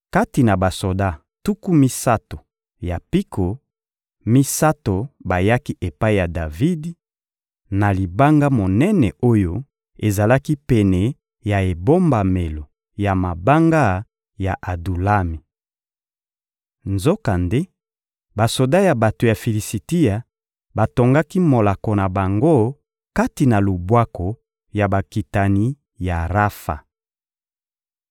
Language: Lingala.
Kati na basoda tuku misato ya mpiko, misato bayaki epai ya Davidi, na libanga monene oyo ezalaki pene ya ebombamelo ya mabanga ya Adulami. Nzokande, basoda ya bato ya Filisitia batongaki molako na bango kati na lubwaku ya bakitani ya Rafa.